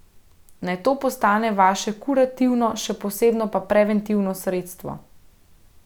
Naj to postane vaše kurativno še posebno pa preventivno sredstvo.